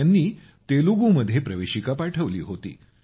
त्यांनी तेलुगुमध्ये प्रवेशिका पाठवली होती